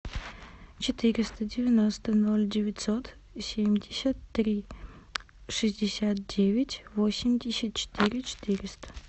четыреста девяносто ноль девятьсот семьдесят три шестьдесят девять восемьдесят четыре четыреста